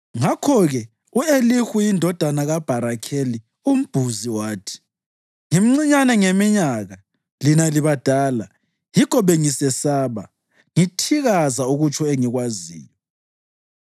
Ngakho-ke u-Elihu indodana kaBharakeli umBhuzi wathi: “Ngimncinyane ngeminyaka, lina libadala; yikho bengisesaba, ngithikaza ukutsho engikwaziyo.